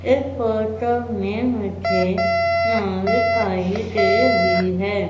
इस फोटो में मुझे दिखाई दे रही है।